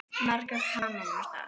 Margar kanónur þar.